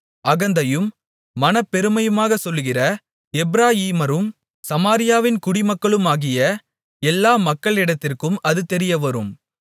அகந்தையும் மனப்பெருமையுமாகச் சொல்கிற எப்பிராயீமரும் சமாரியாவின் குடிமக்களுமாகிய எல்லா மக்களிடத்திற்கும் அது தெரியவரும்